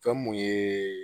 Fɛn mun ye